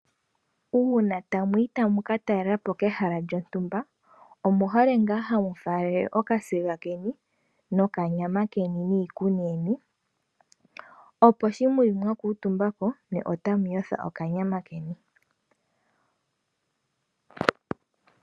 Uuna ta mu yi ta mu ka talelapo kehala lyontumba, omuhole nfaa ha mu faalele oka siga keni, noka nyama keni niikuni yeni, opo shi mu li mwa kuutumbapo nye ota mu yotha oka nyama keni.